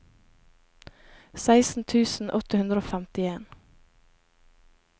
seksten tusen åtte hundre og femtien